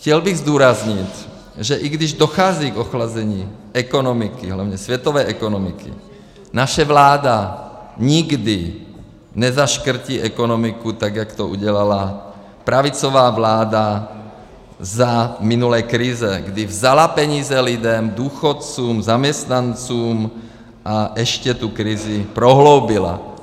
Chtěl bych zdůraznit, že i když dochází k ochlazení ekonomiky, hlavně světové ekonomiky, naše vláda nikdy nezaškrtí ekonomiku tak, jak to udělala pravicová vláda za minulé krize, kdy vzala peníze lidem, důchodcům, zaměstnancům a ještě tu krizi prohloubila.